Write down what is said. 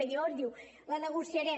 i llavors diu la negociarem